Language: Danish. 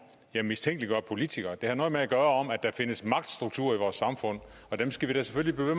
jeg mistænkeliggør politikere det har noget at gøre at der findes magtstrukturer i vores samfund og dem skal vi da selvfølgelig blive